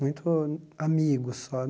Muito amigo só.